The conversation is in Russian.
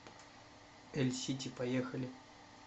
эльсити поехали